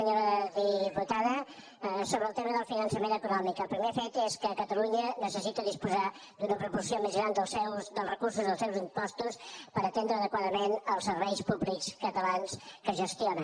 senyora diputada sobre el tema del finançament autonòmic el primer fet és que catalunya necessita disposar d’una proporció més gran dels recursos dels seus impostos per atendre adequadament els serveis públics catalans que gestiona